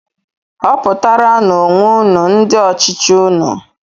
Họputaranú onwe unu ndị ọchịchị unu!